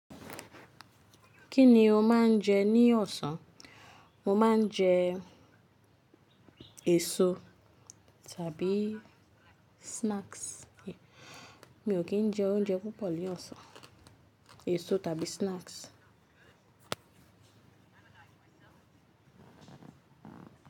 Kí ni o máa ń jẹ ní ọ̀sán? Mo máa ń jẹ èso tàbí snacks. Mi ò kí ń jẹ oúnjẹ púpọ̀ ní ọ̀sán, èso tàbí snacks.